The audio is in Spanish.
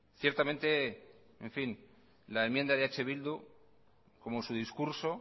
ciertamente en fin la enmienda de eh bildu como su discurso